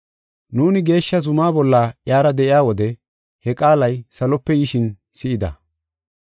Nuuni geeshsha zumaa bolla iyara de7iya wode he qaalay salope yishin si7ida.